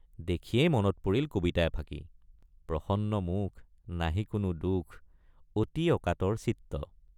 দেখিয়েই মনত পৰিল কবিতা এফাকি—প্ৰসন্ন মুখ নাহি কোনো দুখ অতি অকাতৰ চিত্ত।